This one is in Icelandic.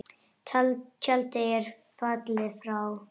Tjaldið er fallið og frá.